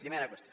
primera qüestió